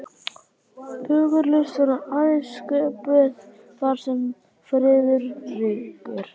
Fögur list verður aðeins sköpuð þar sem friður ríkir.